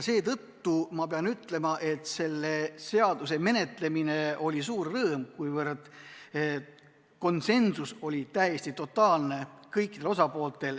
Seetõttu ma pean ütlema, et selle seaduseelnõu menetlemine oli suur rõõm, kuna osapoolte konsensus oli totaalne.